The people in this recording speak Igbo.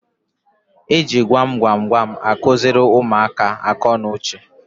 E ji gwam gwam gwam akụziri ụmụaka akọ na uche.